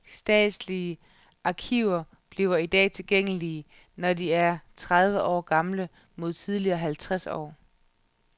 Statslige arkiver bliver i dag tilgængelige, når de er tredive år gamle mod tidligere halvtreds år.